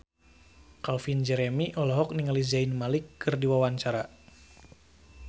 Calvin Jeremy olohok ningali Zayn Malik keur diwawancara